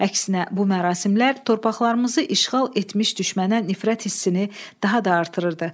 Əksinə, bu mərasimlər torpaqlarımızı işğal etmiş düşmənə nifrət hissini daha da artırırdı.